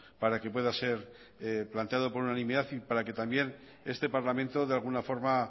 para que pueda ser planteado por unanimidad y para que también este parlamento de alguna forma